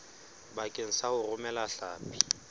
bakeng sa ho romela hlapi